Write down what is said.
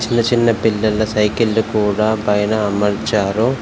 చిన్న చిన్నపిల్లల సైకిళ్లు కూడా పైన అమర్చారు.